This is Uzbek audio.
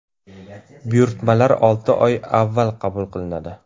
Buyurtmalar olti oy avval qabul qilinadi.